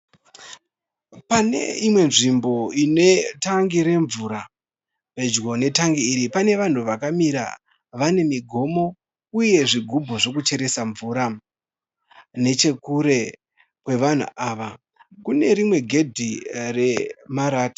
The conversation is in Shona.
Pane imwe nzvimbo ine tangi remvura. Pedyo netangi iri pane vanhu vakamira vane migomo uye zvigubhu zvekucheresa mvura. Nechekure kwevanhu ava kune rimwe gedhi remarata.